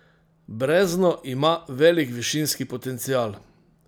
Brezno ima velik višinski potencial.